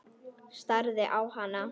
Starði á hana.